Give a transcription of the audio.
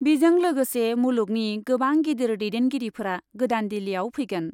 बिजों लोगोसे मुलुगनि गोबां गिदिर दैदेनगिरिफोरा गोदान दिल्लीआव फैगोन ।